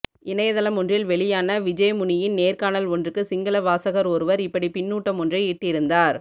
இணையத்தளமொன்றில் வெளியான விஜேமுனியின் நேர்காணல் ஒன்றுக்கு சிங்கள வாசகர் ஒருவர் இப்படி பின்னூட்டமொன்றை இட்டிருந்தார்